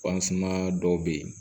dɔw bɛ yen